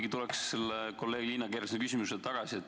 Ma tulen ikkagi kolleeg Liina Kersna küsimuse juurde tagasi.